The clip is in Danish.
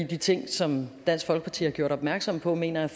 de ting som dansk folkeparti har gjort opmærksom på mener jeg